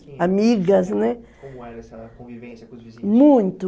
amigas, Como era essa convivência com os vizinhos? Muito